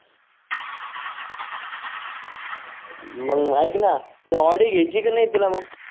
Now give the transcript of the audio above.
मग ऐक ना ती ऑडी घ्यायची का नाही तुला मग